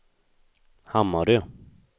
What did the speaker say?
Hammarö